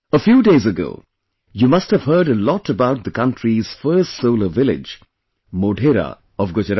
A few days ago, you must have heard a lot about the country's first Solar Village Modhera of Gujarat